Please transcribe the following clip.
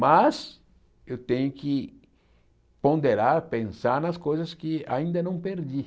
Mas eu tenho que ponderar, pensar nas coisas que ainda não perdi.